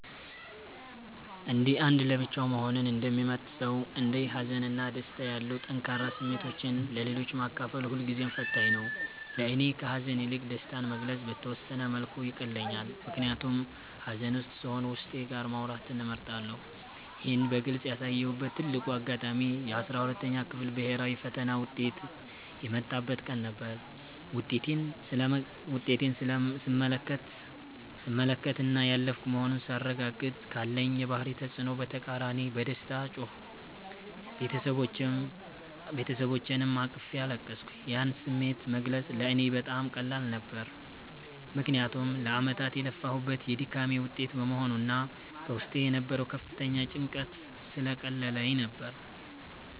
እንደ አንድ ለብቻው መሆንን እንደሚመርጥ ሰው፣ እንደ ሀዘን እና ደስታ ያሉ ጠንካራ ስሜቶችን ለሌሎች ማካፈል ሁልጊዜም ፈታኝ ነው። ለእኔ ከሐዘን ይልቅ ደስታን መግለጽ በተወሰነ መልኩ ይቀለኛል፤ ምክንያቱም ሐዘን ውስጥ ስሆን ዉስጤ ጋር ማውራትን እመርጣለሁ። ይህን በግልጽ ያሳየሁበት ትልቁ አጋጣሚ የ12ኛ ክፍል ብሔራዊ ፈተና ውጤት የመጣበት ቀን ነበር። ውጤቴን ስመለከትና ያለፍኩ መሆኑን ሳረጋግጥ፤ ካለኝ የባህሪ ተጽዕኖ በተቃራኒ በደስታ ጮህኩ፤ ቤተሰቦቼንም አቅፌ አለቀስኩ። ያን ስሜት መግለጽ ለእኔ በጣም ቀላል ነበር፤ ምክንያቱም ለዓመታት የለፋሁበት የድካሜ ውጤት በመሆኑና በውስጤ የነበረው ከፍተኛ ጭንቀት ስለቀለለልኝ ነበር።